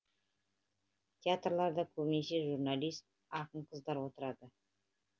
театрларда көбінесе журналист ақын қыздар отырады